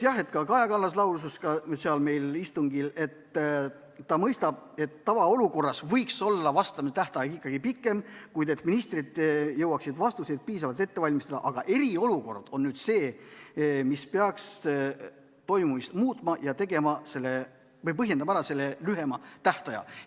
Kaja Kallas lausus ka meil istungil, et ta mõistab, et tavaolukorras võiks olla vastamise tähtaeg ikkagi pikem, et ministrid jõuaksid vastuseid piisavalt ette valmistada, aga eriolukord on see, mis peaks põhjendama ära selle lühema tähtaja.